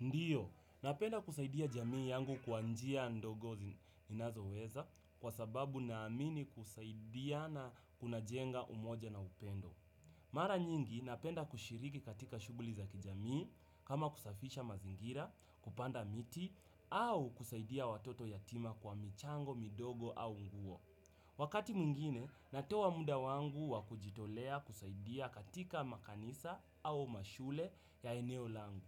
Ndiyo, napenda kusaidia jamii yangu kwa njia ndogo ninazoweza kwa sababu naamini kusaidiana kuna jenga umoja na upendo. Mara nyingi napenda kushiriki katika shuguli za kijamii kama kusafisha mazingira, kupanda miti, au kusaidia watoto yatima kwa michango, midogo au nguo. Wakati mwingine, natoa muda wangu wa kujitolea kusaidia katika makanisa au mashule ya eneo langu.